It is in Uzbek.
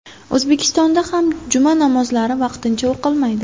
O‘zbekistonda ham juma namozlari vaqtincha o‘qilmaydi .